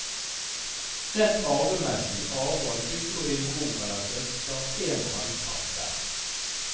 Rent arvemessig arver du og din bror eller søster en halvpart hver.